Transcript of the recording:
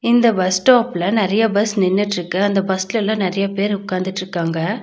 இந்த பஸ் ஸ்டாப்ல நெறையா பஸ் நின்னுட்ருக்கு அந்த பஸ்ளெல்லா நறையா பேர் உக்காந்துட்ருக்காங்க.